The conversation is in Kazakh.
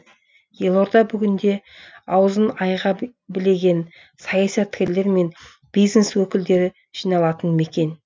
елорда бүгінде аузын айға білеген саясаткерлер мен бизнес өкілдері жиналатын мекен